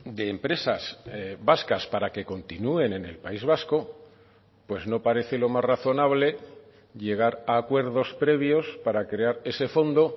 de empresas vascas para que continúen en el país vasco pues no parece lo más razonable llegar a acuerdos previos para crear ese fondo